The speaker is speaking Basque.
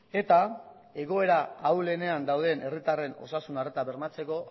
eta egoera ahulenean dauden herritarren osasun arreta bermatzeko